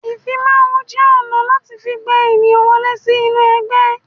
Ìfimawo jẹ́ ọ̀nà láti fi gba ènìyàn wọlé sí inú ẹgbẹ́